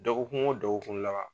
Dɔgɔkun o dɔgɔkun laban